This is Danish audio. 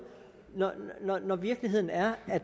når virkeligheden er at